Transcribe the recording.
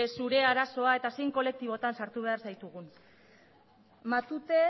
zure arazoa eta zein kolektibotan sartu behar zaitugun matute